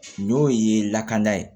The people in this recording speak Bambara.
N'o ye lakana ye